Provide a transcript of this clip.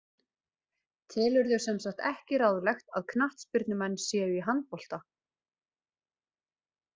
Telurðu semsagt ekki ráðlegt að knattspyrnumenn séu í handbolta?